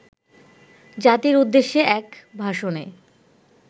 জাতির উদ্দেশ্যে এক ভাষণে